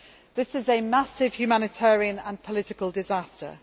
This is a massive humanitarian and political disaster.